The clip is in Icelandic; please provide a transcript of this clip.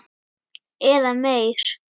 Eða meir.